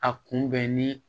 A kunbɛnni